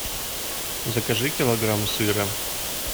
закажи килограмм сыра